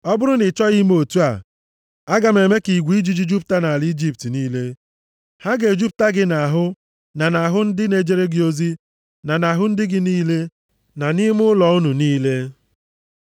Ọ bụrụ na ị chọghị ime otu a, aga m eme ka igwe ijiji jupụta nʼala Ijipt niile. Ha ga-ejupụta gị nʼahụ na nʼahụ ndị na-ejere gị ozi, na nʼahụ ndị gị niile, na nʼime ụlọ unu niile.